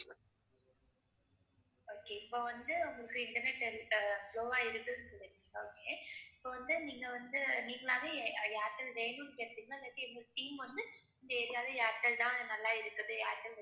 okay இப்ப வந்து உங்களுக்கு இன்டர்நெட் வீட்ல slow ஆ இருந்துச்சுன்னு சொல்லிருக்கீங்க okay இப்ப வந்து நீங்க வந்த நீங்களாவே ஏ~ அஹ் ஏர்டெல் வேணும்னு கேட்டீங்களா இல்லாட்டி எங்க team வந்து இந்த area ல ஏர்டேல் தான் நல்லா இருக்குது. ஏர்டெல்